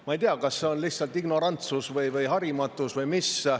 Ma ei tea, kas see on lihtsalt ignorantsus või harimatus või mis.